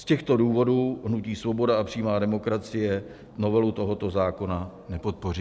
Z těchto důvodů hnutí Svoboda a přímá demokracie novelu tohoto zákona nepodpoří.